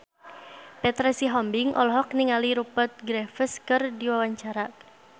Petra Sihombing olohok ningali Rupert Graves keur diwawancara